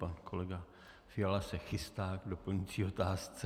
Pan kolega Fiala se chystá k doplňující otázce.